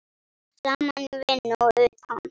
Saman í vinnu og utan.